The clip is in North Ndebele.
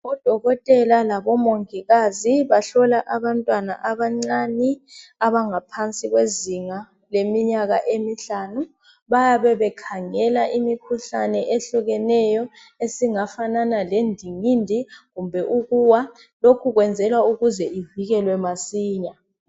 Odokotela labomongikazi bahlola abantwana abancani, abangaphansi kwezinga leminyaka emihlanu. Bayabe bekhangela imikhuhlane ehlukeneyo, esingafanana lendingindi, kumbe ukuwa. Lokhu kwenziwa ukuze ivikelwe masinya.